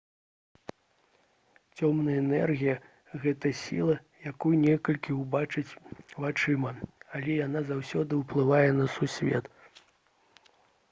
цёмная энергія гэта сіла якую нельга ўбачыць вачыма але яна заўсёды ўплывае на сусвет